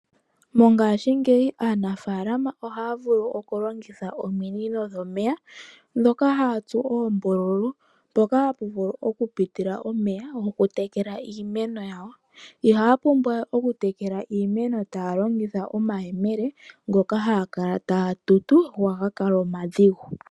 Mongashingeyi aanafalama ohaya vulu okulongitha ominino dhomeya ndhoka haya tsu uumbululu pupitile omeya gokutekela iimeno. Ihaya pumbwa we oku tekela omeya taya longitha omayemele oshoka ohaga kala omadhigu.